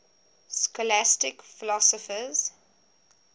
scholastic philosophers